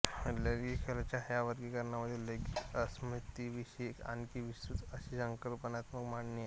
लैंगिक कलाच्या ह्या वर्गीकरणांमधे लैंगिक अस्मितांविषयी आणखी विस्तृत अशी संकल्पनात्मक मांडणी आहे